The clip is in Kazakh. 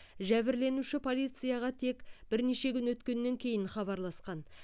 жәбірленуші полицияға тек бірнеше күн өткеннен кейін хабарласқан